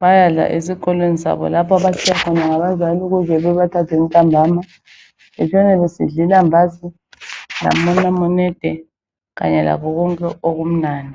bayadla esikolweni sabo lapho abatshiywe khona ngabazali ukuze babathathe ntambama. Betshone besidla ilambazi lamanamunede kanye lakho konke okumnandi.